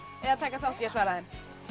eða taka þátt í að svara þeim